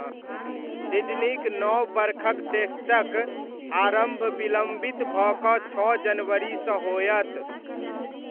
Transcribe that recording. सिडनीक नव बरखक टेस्टक आरम्भ विलम्बित भऽ कऽ छओ जनवरीसँ होयत।